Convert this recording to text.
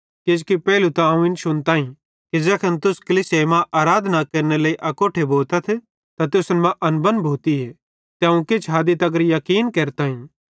किजोकि पेइलू त अवं इन शुनताईं कि ज़ैखन तुस कलीसिया मां आराधनारे लेइ अकोट्ठे भोतथ त तुसन मां अनबन भोतीए ते अवं किछ हदी तगर याकीन केरताईं